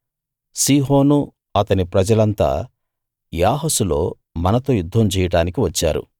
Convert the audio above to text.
సీహోనూ అతని ప్రజలంతా యాహసులో మనతో యుద్ధం చేయడానికి వచ్చారు